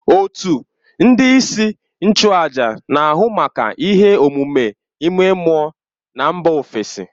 Òtù ndị isi nchụàjà na, ahụ maka ihe omume ime mmụọ na mba ofesi